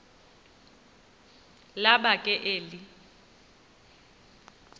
laba ke eli